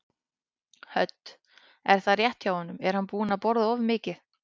Hödd: Er það rétt hjá honum, er hann búinn að borða of mikið?